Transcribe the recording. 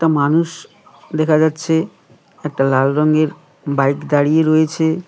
মানুষ দেখা যাচ্ছে একটা লাল রঙের বাইক দাঁড়িয়ে রয়েছে।